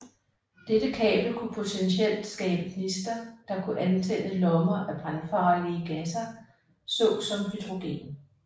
Dette kabel kunne potentielt skabe gnister der kunne antænde lommer af brandfarlige gasser såsom hydrogen